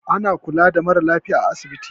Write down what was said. Ana kula da mara lafiya a asibiti.